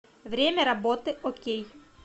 время работы окей